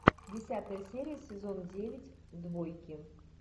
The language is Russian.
десятая серия сезон девять двойки